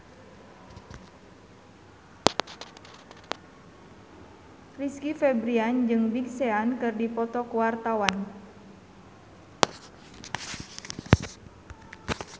Rizky Febian jeung Big Sean keur dipoto ku wartawan